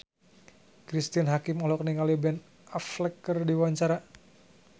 Cristine Hakim olohok ningali Ben Affleck keur diwawancara